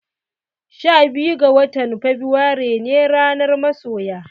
Sha huɗu ga watan febuare ne ranar masoya.